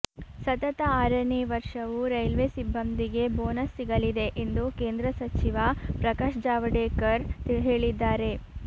ಸತತ ಆರನೇ ವರ್ಷವೂ ರೈಲ್ವೆ ಸಿಬ್ಬಂದಿಗೆ ಬೋನಸ್ ಸಿಗಲಿದೆ ಎಂದು ಕೇಂದ್ರ ಸಚಿವ ಪ್ರಕಾಶ್ ಜಾವಡೇಕರ್ ಹೇಳಿದ್ದಾರೆ